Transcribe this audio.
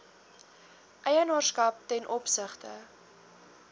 eienaarskap ten opsigte